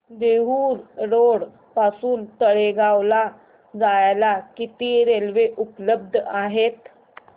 Dehu road पासून तळेगाव ला जायला किती रेल्वे उपलब्ध आहेत